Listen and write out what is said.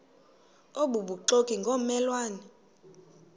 obubuxoki ngomme lwane